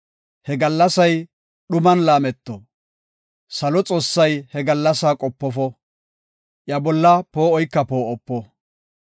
He gallasay dhuman laameto! Salo Xoossay he gallasaa qopofo; iya bolla poo7oyka poo7opo.